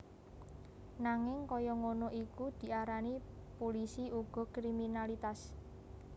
Nanging kaya ngono iku diarani pulisi uga kriminalitas